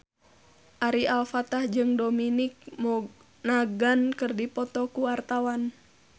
Ari Alfalah jeung Dominic Monaghan keur dipoto ku wartawan